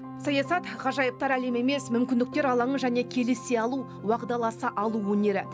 саясат ғажайыптар әлемі емес мүмкіндіктер алаңы және келісе алу уағдаласа алу өнері